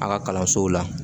A ka kalansow la